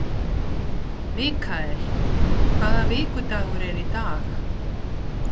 Mikkel, hvaða vikudagur er í dag?